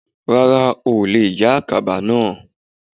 Rárá ò le è yá àkàbà náà